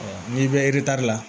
n'i bɛ la